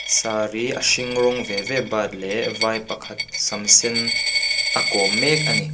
saree a hring rawng ve ve bat leh vai pakhat sam sen a kawm mek a ni.